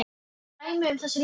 Dæmi um þessi lyf eru